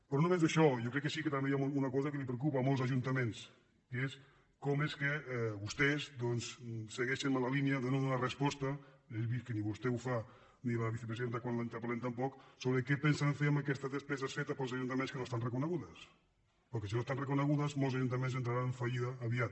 però no només això jo crec que sí que també hi ha una cosa que preocupa a molts ajuntaments que és com és que vostès doncs segueixen en la línia de no donar resposta he vist que ni vostè ho fa ni la vicepresiden·ta quan la interpel·lem tampoc sobre què pensen fer amb aquestes despeses fetes pels ajuntaments que no estan reconegudes perquè si no estan reconegudes molts ajuntaments entraran en fallida aviat